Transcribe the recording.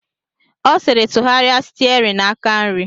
Ọ sịrị, tụgharịa stiarin aka nri!